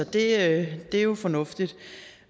det er jo fornuftigt